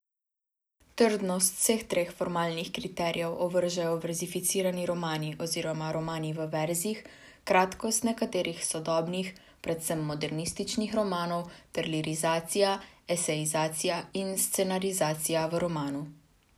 Trdnost vseh treh formalnih kriterijev ovržejo verzificirani romani oziroma romani v verzih, kratkost nekaterih sodobnih, predvsem modernističnih romanov ter lirizacija, esejizacija in scenarizacija v romanu.